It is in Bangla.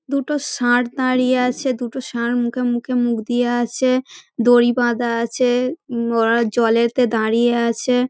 দুটো ষাঁড় দাঁড়িয়ে আছে দুটো ষাঁড় মুখে মুখ দিয়ে আছে দড়ি বাধা আছে ওরা জলেতে দাঁড়িয়ে আছে।